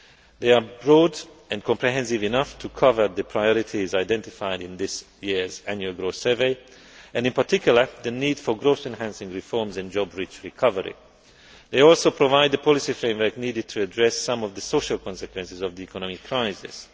They are broad and comprehensive enough to cover the priorities identified in this year's Annual Growth Survey and in particular the need for growth enhancing reforms and job rich recovery. They also provide the policy framework needed to address some of the social consequences of the economic